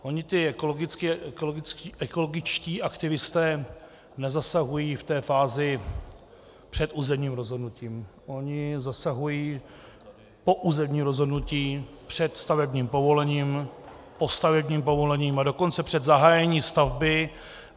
Oni ti ekologičtí aktivisté nezasahují v té fázi před územním rozhodnutím, oni zasahují po územním rozhodnutí, před stavebním povolením, po stavebním povolení, a dokonce před zahájením stavby.